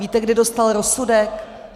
Víte, kdy dostal rozsudek?